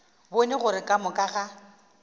bone gore ka moka ga